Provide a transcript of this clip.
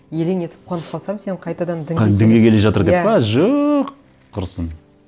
елең етіп қуанып қалсам сен қайтадан дінге дінге келе жатыр деп пе жоқ құрысын